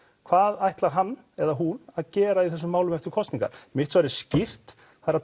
hvað ætlar hann eða hún að gera í þessum málum eftir kosningar mitt svar er skýrt